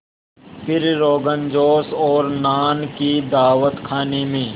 फिर रोग़नजोश और नान की दावत खाने में